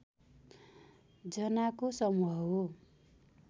जनाको समूह हो